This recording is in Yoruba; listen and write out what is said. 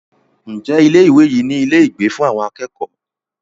Ǹjẹ́ ilé ìwé yìí ní ilé ìgbé fún àwọn akẹ́kọ̀ọ́?